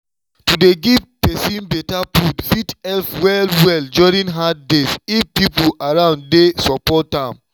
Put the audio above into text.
to dey give person better food fit help well-well during hard days if people around dey support am.